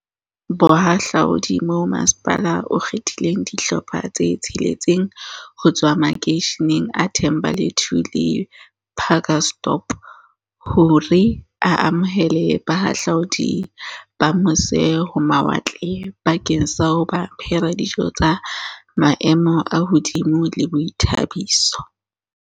Bohahla udi mo masepala o kgethileng dihlopha tse tsheletseng ho tswa makeisheneng a The mbalethu le Pacaltsdorp hore a amohele bahahlaudi ba mo se-ho-mawatle bakeng sa ho ba phehela dijo tsa maemo a hodimo le boithabiso.